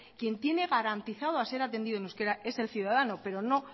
quien tiene garantizado a ser atendidoen euskera es el ciudadano pero no